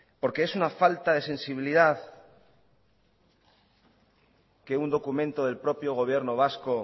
por qué es una falta de sensibilidad que un documento del propio gobierno vasco